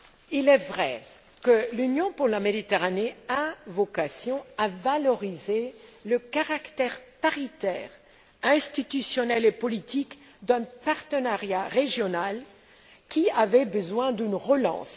Il est vrai que l'Union pour la Méditerranée a vocation à valoriser le caractère paritaire institutionnel et politique d'un partenariat régional qui a besoin d'une relance.